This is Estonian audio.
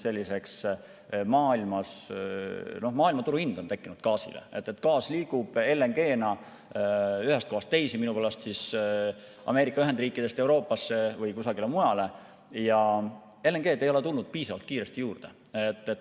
Teiseks, maailmaturuhind on tekkinud gaasile, gaas liigub LNG‑na ühest kohast teise, minupärast Ameerika Ühendriikidest Euroopasse või kusagile mujale, ja LNG‑d ei ole tulnud piisavalt kiiresti juurde.